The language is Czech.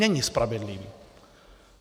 Není spravedlivý.